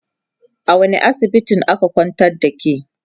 a wani asibitin aka kwantar da ke?